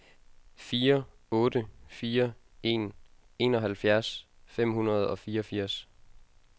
fire otte fire en enoghalvfjerds fem hundrede og fireogfirs